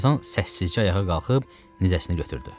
Tarzan səssizcə ayağa qalxıb nizəsini götürdü.